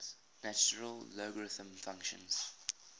natural logarithm function